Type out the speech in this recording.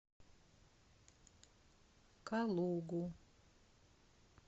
калугу